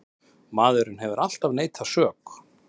Maðurinn hefur alltaf neitað sök.